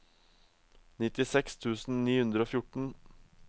nittiseks tusen ni hundre og fjorten